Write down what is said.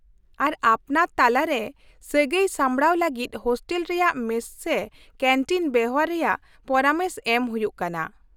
ᱟᱨ ᱟᱯᱱᱟᱨ ᱛᱟᱞᱟᱨᱮ ᱥᱟᱹᱜᱟᱹᱭ ᱥᱟᱢᱵᱲᱟᱣ ᱞᱟᱹᱜᱤᱫ ᱦᱳᱥᱴᱮᱞ ᱨᱮᱭᱟᱜ ᱢᱮᱥ ᱥᱮ ᱠᱮᱱᱴᱤᱱ ᱵᱮᱣᱦᱟᱨ ᱨᱮᱭᱟᱜ ᱯᱚᱨᱟᱢᱮᱥ ᱮᱢ ᱦᱩᱭᱩᱜ ᱠᱟᱱᱟ ᱾